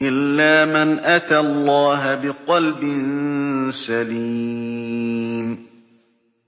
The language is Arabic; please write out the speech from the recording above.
إِلَّا مَنْ أَتَى اللَّهَ بِقَلْبٍ سَلِيمٍ